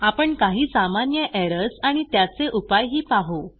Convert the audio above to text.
आपण काही सामान्य एरर्स आणि त्याचे उपाय ही बघू